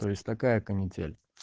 то есть такая канитель